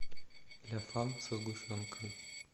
ля фам со сгущенкой